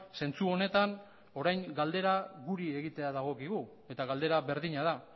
zentzu honetan orain galdera guri egitea dagokigu eta galdera berdina da